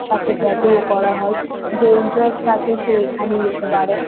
সাথে ট্যাটু -ও করা হয়। যে ইন্টারেস্ট থাকে সে এখানে নিতে পারে।